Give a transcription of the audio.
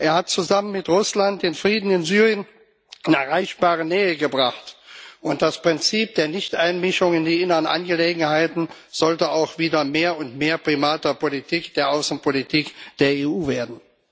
Er hat zusammen mit Russland den Frieden in Syrien in erreichbare Nähe gebracht, und das Prinzip der Nichteinmischung in die inneren Angelegenheiten sollte auch wieder mehr und mehr Primat der Außenpolitik der EU werden.